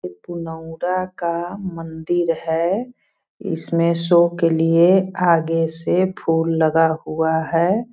का मंदिर है इसमें शो के लिए आगे से फूल लगा हुआ है।